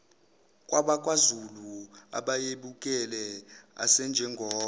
kwabakwazulu ababebukele asinjengoba